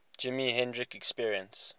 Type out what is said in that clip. jimi hendrix experience